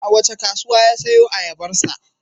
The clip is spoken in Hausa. A wace kasuwa ya sayo ayabarsa?